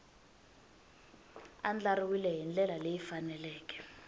andlariwile hi ndlela leyi faneleke